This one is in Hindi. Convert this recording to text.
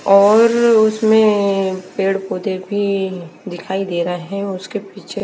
और उसमें पेड़ पौधे भी दिखाई दे रहे हैं उसके पीछे--